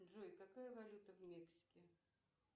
джой какая валюта в мексике